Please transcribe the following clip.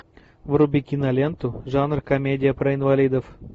вруби киноленту жанр комедия про инвалидов